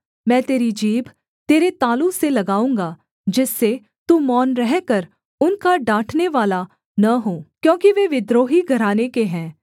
मैं तेरी जीभ तेरे तालू से लगाऊँगा जिससे तू मौन रहकर उनका डाँटनेवाला न हो क्योंकि वे विद्रोही घराने के हैं